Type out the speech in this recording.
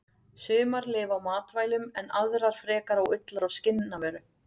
Sumar lifa á matvælum en aðrar frekar á ullar- og skinnavöru.